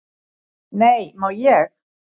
"""Nei, má ég!"""